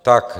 Tak.